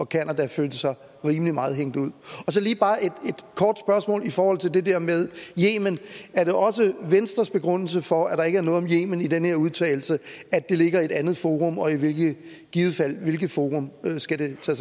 canada følte sig rimelig meget hængt ud så lige bare et kort spørgsmål i forhold til det der med yemen er det også venstres begrundelse for at der ikke er noget om yemen i den her udtalelse at det ligger i et andet forum og i hvilket forum skal det så